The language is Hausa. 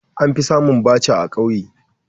An fi samun Bacha a kauye